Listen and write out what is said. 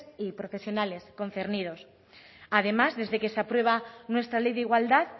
y profesionales concernidos además desde que se prueba nuestra ley de igualdad